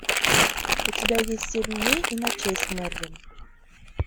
у тебя есть семь дней и ночей с мерлин